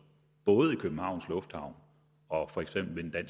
både i københavns lufthavn og for eksempel